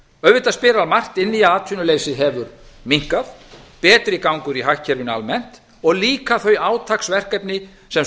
auðvitað spilar margt inn atvinnuleysi hefur minnkað betri gangur í hagkerfinu almennt og líka þau átaksverkefni sem